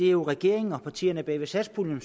er regeringen og partierne bag satspuljen